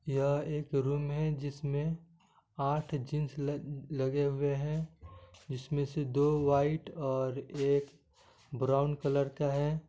यह एक रूम है जिसमे आठ जिन्स लग लगे हुये है जिसमे से दो वाईट और एक ब्राउन कलर का है|